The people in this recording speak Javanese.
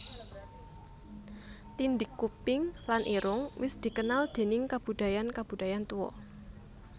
Tindhik kuping lan irung wis dikenal déning kabudayan kabudayan tuwa